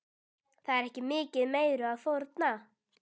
Það er ekki mikið meiru að fórna.